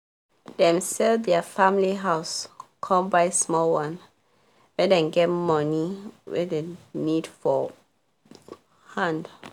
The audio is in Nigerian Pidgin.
dem sell der family house con buy small one make dem get money wey dem need for hand